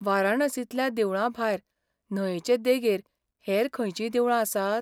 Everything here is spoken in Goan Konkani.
वाराणसींतल्या देवळां भायर न्हंयचे देगेर हेर खंयचींय देवळां आसात?